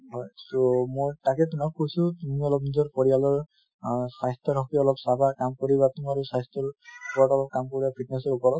হয় তʼ মোৰ তাকে তোমাক কৈছো তুমি অলপ নিজৰ পৰিয়ালৰ অহ স্বাস্থ্যৰ হʼকে অলপ চাবা কাম কৰিবা তোমাৰো স্বাস্থ্যৰ ওপৰত কাম কৰিবা fitness ৰ ওপৰত